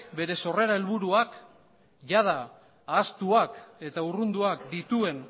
bere sorrera helburuak iada da ahaztuak eta urrunduak dituen